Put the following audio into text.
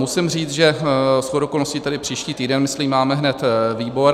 Musím říct, že shodou okolností tedy příští týden, myslím, máme hned výbor.